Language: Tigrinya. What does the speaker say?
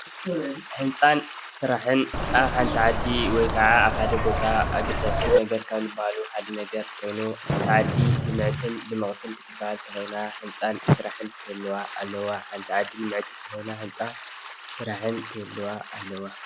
ህንፃን ስራሕን ኣብ ሓንቲ ዓዲ ወይ ካዓ ሓደ ቦታ ኣገዳሲ ነገር ካብ ዝበሃሉ ሓደ ነገር ኮይኑ ሓንቲ ዓዲ ልምዕትን ድምቅትን ክትበሃል እንተኾይና እዩ። ህንፃን ስራሕን ክህልዋ ኣለዎ። ሓንቲ ዓዲ ልምዕቲ እንተኾይና ናይ ህንፃን ስራሕን ክህልዋ ኣለዎ።